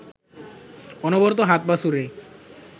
অনবরত হাত-পা ছুড়ে